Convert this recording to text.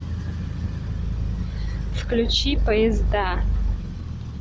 включи поезда